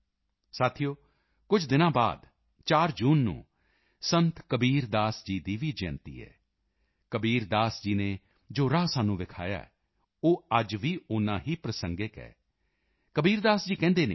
ਸਾਥੀਓ ਕੁਝ ਦਿਨ ਬਾਅਦ 4 ਜੂਨ ਨੂੰ ਸੰਤ ਕਬੀਰ ਦਾਸ ਜੀ ਦੀ ਵੀ ਜਯੰਤੀ ਹੈ ਕਬੀਰ ਦਾਸ ਜੀ ਨੇ ਜੋ ਰਾਹ ਸਾਨੂੰ ਵਿਖਾਇਆ ਹੈ ਉਹ ਅੱਜ ਵੀ ਓਨਾ ਹੀ ਪ੍ਰਾਸੰਗਿਕ ਹੈ ਕਬੀਰ ਦਾਸ ਜੀ ਕਹਿੰਦੇ ਸਨ